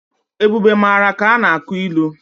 Ebube mara ka a na-akụ ilu.